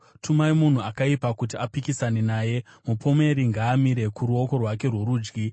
Tumai munhu akaipa kuti apikisane naye; mupomeri ngaamire kuruoko rwake rworudyi.